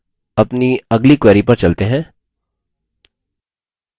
अब अपनी अगली query पर चलते हैं